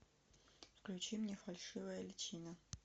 включи мне фальшивая личина